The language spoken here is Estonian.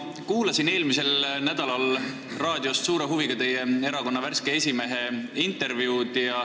Ma kuulasin eelmisel nädalal raadiost suure huviga teie erakonna värske esimehe intervjuud.